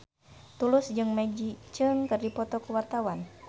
Tulus jeung Maggie Cheung keur dipoto ku wartawan